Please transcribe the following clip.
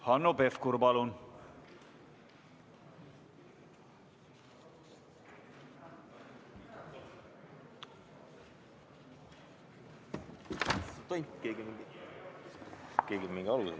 Hanno Pevkur, palun!